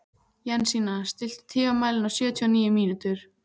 Jensína, stilltu tímamælinn á sjötíu og níu mínútur.